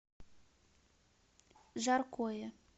жаркое